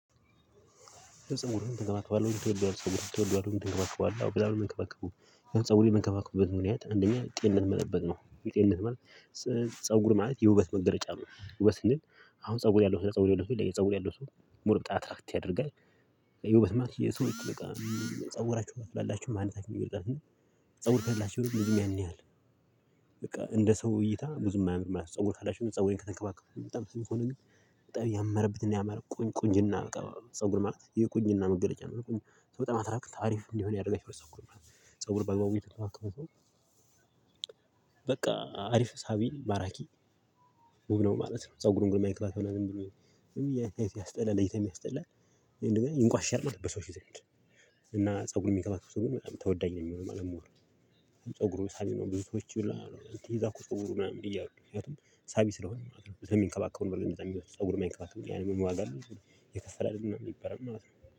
ፀጉርህን ትንከባከባለህ ወይ ትወደዋለህ? ፀጉሬን እንከባከባለሁ አዎ በጣም ነው የምንከባከበው ፀጉሬን የምንከባከብበት ምክንያት አንደኛ ጤንነት መጠበቅ ነው። ጤንነት ማለት ፀጉር ማለት የውበት መገለጫ ነው። ውበት ስንል አሁን ፀጉር ያለው እና ፀጉር የሌለው ሰው ይለያያል ፀጉር ያለው ሰው ሞር በጣም አትራክት ያደርጋል። ውበት ማለት የሰው ጥልቅ ፀጉራችሁ ካላችሁ ማንታችሁን ይገልጻል። ፀጉር ከሌላችሁ ግን ብዙም ያን ያህል በቃ እንደ ሰው እይታ ብዙም አያምርም አላስብም። ፀጉር ካላችሁ ፀጉር ተንከባከቡ በጣም ስንኩን ግን። በጣም ያመረበት ያመረ ቁንጅና በቃ ፀጉር ማለት የቁንጅና መገለጫ ነው። በጣም አትራክት አሪፍ እንዲሆን ያደረገው ሰው እኮ ነው። ፀጉር በአግባቡ እየተንከባከብኩ ነው። በቃ አሪፍ ሳቢ ማራኪ ውብ ነው ማለት ነው። ፀጉሩን የማይንከባከብ ሰው ግን ያስጠላል ለይታም የሚያስጠላ እንደገና ይንቋሸሻል ማለት በሰው ዘንድ። እና ፀጉርን የሚንከባከቡ ሰው ግን በጣም ተወዳጅ ነው የሚሆን ሞር። ፀጉሩ ሳቢ ነው ብዙ ሰዎች ይላሉ ይዛ እኮ ፀጉሩ ምናምን እያወጣሁ ሳቢ ስለሆነ ምናምን ነው ስለሚንከባከብ በል የሚወስዱ ፀጉር የማይንከባከቡ ያኔ ዋጋ አለኝ የከፈለ አይደለም የሚበራ ማለት ነው